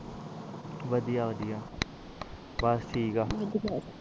ਵਧੀਆ ਵਧੀਆ ਬਸ ਠੀਕ ਆ